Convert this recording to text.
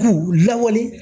K'u lawuli